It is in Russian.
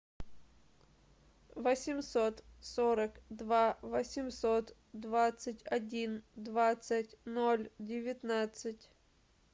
восемьсот сорок два восемьсот двадцать один двадцать ноль девятнадцать